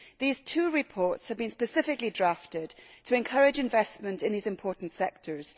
These two reports have been specifically drafted to encourage investment in these important sectors.